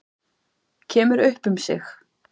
Kemur upp um sig.